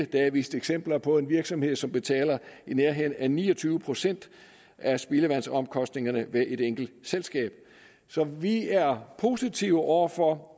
der er vist eksempler på en virksomhed som betaler i nærheden af ni og tyve procent af spildevandsomkostningerne ved et enkelt selskab så vi er positive over for